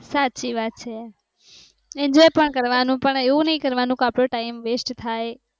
સાચી વાત છે enjoy પણ કરવાનું પણ એવું નહિ કરવાનું કે આપણો time waste થાય